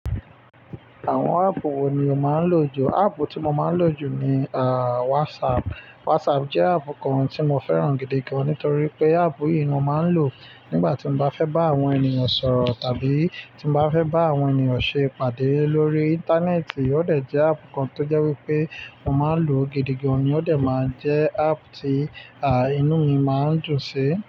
Àwọn áàpù wo ni o máa ń lò jù? Áàpù tí mo máa ń lò jù ni, ah, WhatsApp. WhatsApp jẹ́ áàpù kan tí mo fẹ́ràn gidi gan, nítorí pé áàpù yìí ni mo máa ń lò nígbà tí mo bá fẹ́ bá àwọn ènìyàn sọ̀rọ̀ tàbí tí mo bá fẹ́ bá àwọn ènìyàn ṣe ìpàdé lórí íńtánẹ́ẹ̀tì. Ó dẹ̀ jẹ́ áàpù kan tó jẹ́ wípé mo máa ń lò gidi gan, ní ó dẹ̀ máa ń jẹ́ áàpù tí, ah, inú mi máa ń dùn sí.